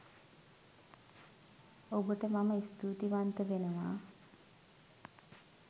ඔබට මම ස්තූතිවන්ත වෙනවා